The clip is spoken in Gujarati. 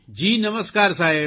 જી નમસ્કાર સાહેબ